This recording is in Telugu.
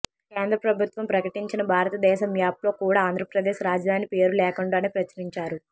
కేంద్ర ప్రభుత్వం ప్రకటించిన భారత దేశ మ్యాప్లో కూడా ఆంధ్రప్రదేశ్ రాజధాని పేరు లేకుండానే ప్రచురించారు